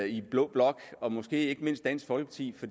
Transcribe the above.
i blå blok måske ikke mindst dansk folkeparti